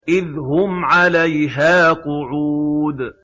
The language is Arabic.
إِذْ هُمْ عَلَيْهَا قُعُودٌ